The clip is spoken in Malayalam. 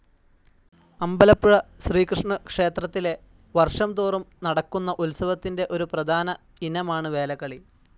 അമ്പലപ്പുഴ ശ്രീകൃഷ്ണക്ഷേത്രത്തിലെ വർഷംതോറും നടക്കുന്ന ഉത്സവത്തിൻ്റെ ഒരു പ്രധാന ഇനമാണ് വേലകളി.